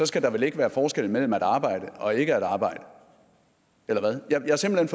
skal der vel være forskel mellem at arbejde og ikke at arbejde eller hvad jeg er simpelt